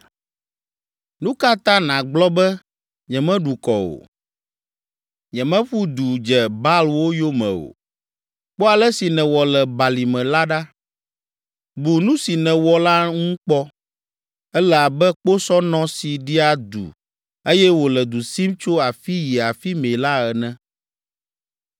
“Nu ka ta nàgblɔ be, ‘Nyemeɖu kɔ o, nyemeƒu du dze Baalwo yome o?’ Kpɔ ale si nèwɔ le balime la ɖa. Bu nu si nèwɔ la ŋu kpɔ. Èle abe kposɔnɔ si ɖia du eye wòle du sim tso afi yi afi mɛ la ene.